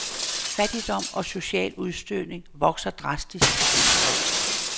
Fattigdom og social udstødning vokser dramatisk i disse år.